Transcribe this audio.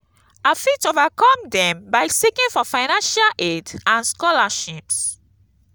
i fit overcome dem by seeking for financial aid and scholarships.